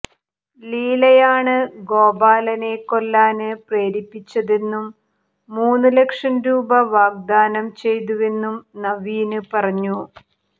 ലീലയാണ് ഗോപാലനെ കൊല്ലാന് പ്രേരിപ്പിച്ചതെന്നും മൂന്നു ലക്ഷം രൂപ വാഗ്ദാനം ചെയ്തുവെന്നും നവീന് പറഞ്ഞു